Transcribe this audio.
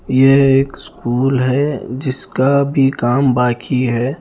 यह एक स्कूल है जिसका अभी काम बाकी है।